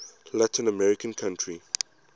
latin american country